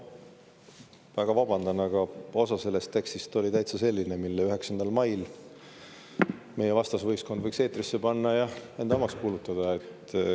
No ma väga vabandan, aga osa sellest tekstist oli täitsa selline, mille 9. mail meie vastasvõistkond võiks eetrisse lasta ja enda omaks kuulutada.